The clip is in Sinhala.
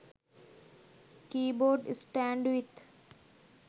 keybord stand with